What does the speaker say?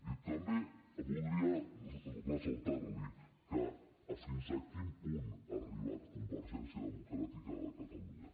i també voldria ressaltar li fins a quin punt ha arribat convergència democràtica de catalunya